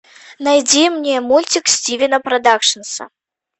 найди мне мультик стивена продакшнса